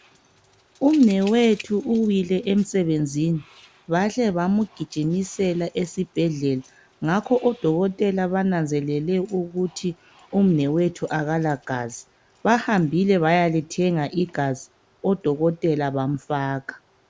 Umnwethu uwile emsebenzini bahle bamgijimjsela esibhedlela ngakho odokotela bananzelele ukuthi umnewethu akalagazi. Bahambile bayalithenga igazi odokotela bamfaka.